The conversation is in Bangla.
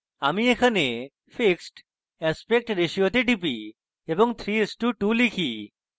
এইজন্য আমি এখানে fixed aspect ratio তে type এবং 3:2 type